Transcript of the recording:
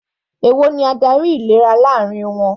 Èwo ni adarí ìlera láàrin wọn?